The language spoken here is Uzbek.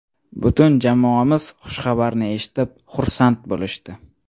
Butun jamoamiz xushxabarni eshitib xursand bo‘lishdi.